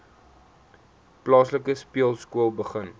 plaaslike speelskool begin